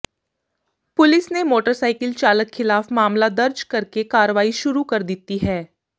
police ਨੇ motorcycle ਚਾਲਕ ਖਿਲਾਫ ਮਾਮਲਾ ਦਰਜ ਕਰ ਕੇ ਕਾਰਵਾਈ ਸ਼ੁਰੂ ਕਰ ਦਿੱਤੀ ਹੈ